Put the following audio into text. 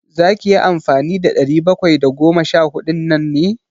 Za ka yi amfani da ɗari bakwai da goma sha huɗun nan ne?